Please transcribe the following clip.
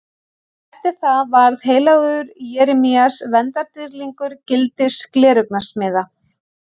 Eftir það varð heilagur Jeremías verndardýrlingur gildis gleraugnasmiða.